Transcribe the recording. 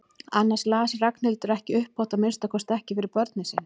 Annars las Ragnhildur ekki upphátt, að minnsta kosti ekki fyrir börnin sín.